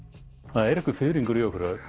það er einhver fiðringur í okkur að